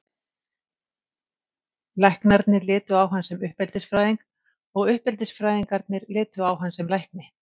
Læknarnir litu á hann sem uppeldisfræðing og uppeldisfræðingarnir litu á hann sem lækni.